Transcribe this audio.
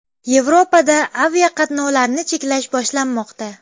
Yevropada aviaqatnovlarni cheklash boshlanmoqda.